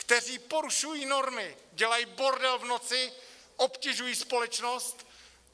Kteří porušují normy, dělaj bordel v noci, obtěžují společnost.